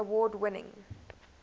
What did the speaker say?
tony award winning